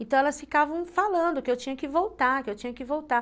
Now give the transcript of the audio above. Então, elas ficavam falando que eu tinha que voltar, que eu tinha que voltar.